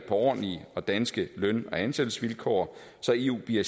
ordentlige og danske løn og ansættelsesvilkår så eu bliver